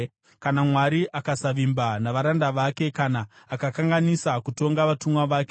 Kana Mwari akasavimba navaranda vake, kana akakanganisa kutonga vatumwa vake,